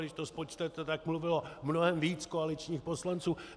Když to spočtete, tak mluvilo mnohem víc koaličních poslanců.